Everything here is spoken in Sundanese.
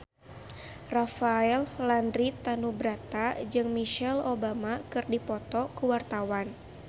Rafael Landry Tanubrata jeung Michelle Obama keur dipoto ku wartawan